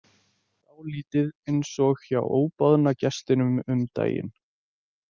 Dálítið eins og hjá óboðna gestinum um daginn.